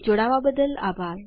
જોડાવા બદ્દલ આભાર